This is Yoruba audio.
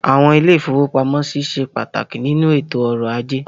Àwọn ilé-ìfowópamọ́sí ṣe pàtàkì nínú ètò ọrọ̀ ajé.